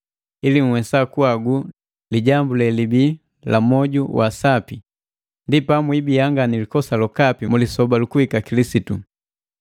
ili nhwesa kuhagu lijambu lelibi la moju wa sapi, ndi pamwibia nga nilikosa lokapi mu lisoba lukuhika Kilisitu.